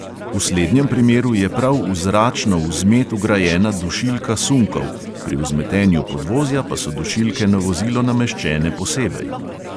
V slednjem primeru je prav v zračno vzmet vgrajena dušilka sunkov, pri vzmetenju podvozja pa so dušilke na vozilo nameščene posebej.